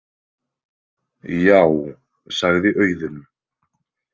Já, sagði Auðunn.